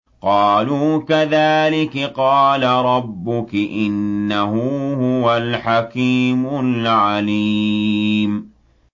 قَالُوا كَذَٰلِكِ قَالَ رَبُّكِ ۖ إِنَّهُ هُوَ الْحَكِيمُ الْعَلِيمُ